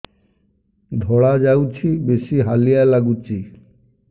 ଧଳା ଯାଉଛି ବେଶି ହାଲିଆ ଲାଗୁଚି